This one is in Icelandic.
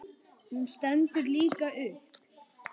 Hún stendur líka upp.